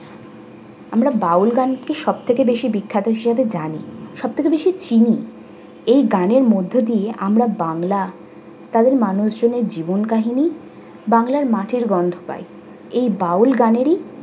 আমরা বাউল গানকে সব থেকে বেশি বিখ্যাত হিসেবে জানি সবথেকে বেশি চিনি। এই গানের মধ্য দিয়ে আমরা বাংলা তাদের মানুষজনের জীবন কাহিনী বাংলা মাটির গন্ধ পাই। এই বাউল গানেরই